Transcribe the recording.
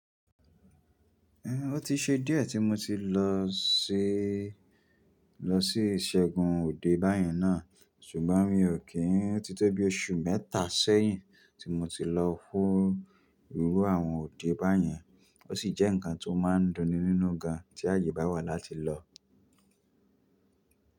Ẹn, ó ti ṣe díẹ̀ tí mo ti lọ sí, lọ sí iṣẹ́gun Òde báyẹn náà. Sùgbọ́n mi ọ̀ kì í, ó ti tẹ́ bí oṣù mẹ́tà sẹ́yìn tí mo ti lọ fún irú àwọn Òde báyẹn. Ó sì jẹ́ nǹkan tó máa ń dunni nínú gan, tí àyè bá wà láti lọ.